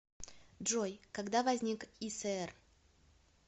джой когда возник иср